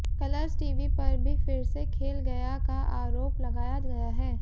colours TV पर भी फिर से खेल गया का आरोप लगाया गया है